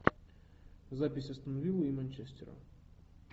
запись астон виллы и манчестера